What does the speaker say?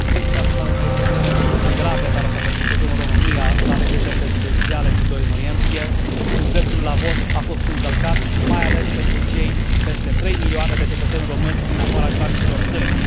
Domnule președinte, doresc să atrag atenția asupra unei probleme extrem de grave care s a petrecut în România la alegerile prezidențiale din 2 noiembrie, când dreptul la vot a fost încălcat, mai ales pentru cei peste 3 milioane de cetățeni români din afara granițelor țării.